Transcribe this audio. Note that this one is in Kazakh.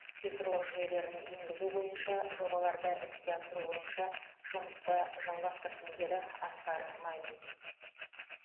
цифрлық жүйелерін енгізу бойынша жобаларды іске асыру бойынша жұмысты жалғастырсын деді асқар мамин